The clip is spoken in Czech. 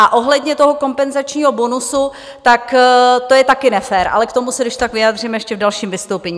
A ohledně toho kompenzačního bonusu, tak to je také nefér, ale k tomu se když tak vyjádřím ještě v dalším vystoupení.